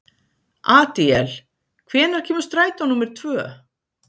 Adíel, hvenær kemur strætó númer tvö?